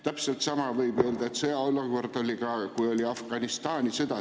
Täpselt samamoodi oleks võinud öelda, et sõjaolukord oli siis, kui oli sõda Afganistanis.